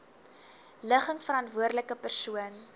ligging verantwoordelike persoon